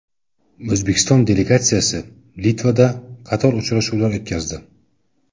O‘zbekiston delegatsiyasi Litvada qator uchrashuvlar o‘tkazdi.